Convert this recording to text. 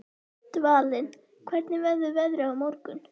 Dvalinn, hvernig verður veðrið á morgun?